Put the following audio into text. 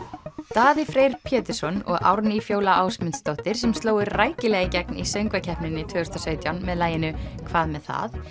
Daði Freyr Pétursson og Árný Fjóla Ásmundsdóttir sem slógu rækilega í gegn í söngvakeppninni tvö þúsund og sautján með laginu hvað með það